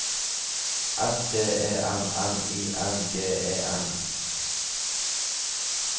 S T E M N I N G E N